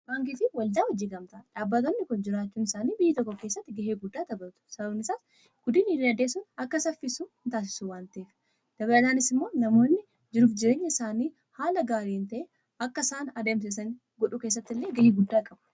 Baankiifi waldaa hojiigamtaa dhaabbatoonni kun jiraachuun isaanii biyya tokko kessatti ga'ee guddaa taphatu. Sababnisaas guddinni diinagdee akka saffisu nitaasisu waanta'eefi. Dabalataanis immoo namoonni jiruf-jireenya isaanii haala gaarii ta'een akka isaan adeemsisan godhu keessatti illee ga'ee guddaa qabu.